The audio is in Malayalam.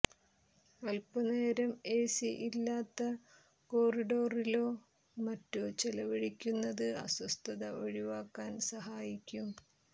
അൽപനേരം ഏസി ഇല്ലാത്ത കോറിഡോറിലോ മറ്റോ ചെലവഴിക്കുന്നത് അസ്വസ്ഥത ഒഴിവാക്കാൻ സഹായിക്കും